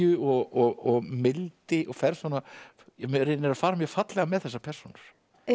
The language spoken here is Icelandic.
og mildi og reynir að fara mjög fallega með þessar persónur